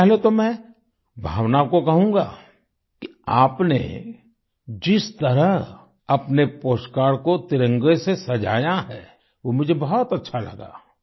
सबसे पहले तो मैं भावना को कहूँगा कि आपने जिस तरह अपने पोस्टकार्ड को तिरंगे से सजाया है वो मुझे बहुत अच्छा लगा